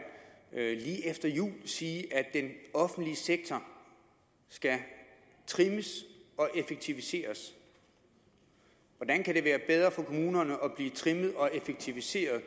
jeg lige efter jul sige at den offentlige sektor skal trimmes og effektiviseres hvordan kan det være bedre for kommunerne at blive trimmet og effektiviseret